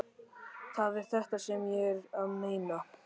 Það er þetta sem ég er að meina.